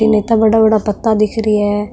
इन बड़ा बड़ा पत्ता दिख रिया है।